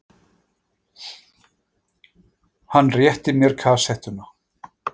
Hann rétti mér kassettuna.